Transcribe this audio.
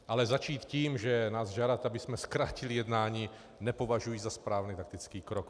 Ale začít tím, že nás žádáte, abychom zkrátili jednání, nepovažuji za správný taktický krok.